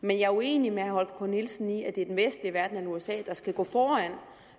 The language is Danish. men jeg er uenig med herre holger k nielsen i at det er den vestlige verden og usa der skal gå foran